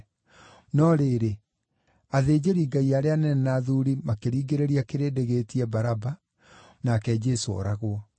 No rĩrĩ, athĩnjĩri-Ngai arĩa anene na athuuri makĩringĩrĩria kĩrĩndĩ gĩĩtie Baraba, nake Jesũ ooragwo.